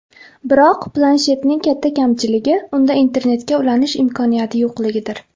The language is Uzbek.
Biroq, planshetning katta kamchiligi unda internetga ulanish imkoniyati yo‘qligidir.